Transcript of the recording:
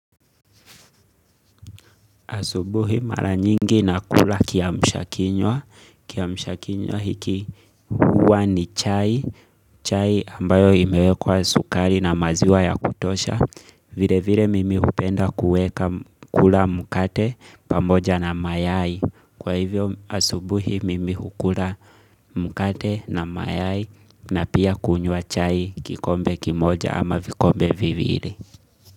Asubuhi mara nyingi na kula kiamshakinywa. Kiamshakinywa hiki huwa ni chai. Chai ambayo imewekwa sukari na maziwa ya kutosha. Vile vile mimi hupenda kuweka kula mkate pamoja na mayai. Kwa hivyo asubuhi mimi hukula mkate na mayai na pia kunywa chai kikombe kimoja ama vikombe viwili.